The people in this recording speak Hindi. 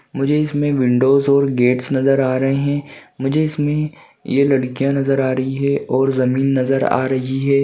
मुझे इसमें विंडोस और गेटस नजर आ रहे हैं मुझे इसमें ये लड़कियाँ नजर आ रही हैं और जमीन नजर आ रही है।